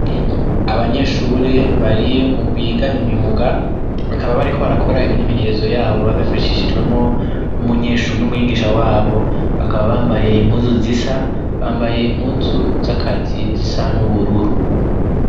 Abanyeshuri bari mu biga imyuga bakaba bari ko barakora imyimenyerezo yabo babifashishijwemo n'umwigisha wabo bakaba bambaye impuzu zisa bambaye impuzu z'akazi zisa n'ubururu.